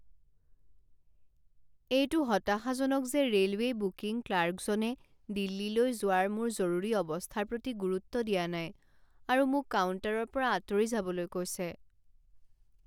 এইটো হতাশাজনক যে ৰে'লৱে' বুকিং ক্লাৰ্কজনে দিল্লীলৈ যোৱাৰ মোৰ জৰুৰী অৱস্থাৰ প্ৰতি গুৰুত্ব নাই দিয়া আৰু মোক কাউণ্টাৰৰ পৰা আঁতৰি যাবলৈ কৈছে।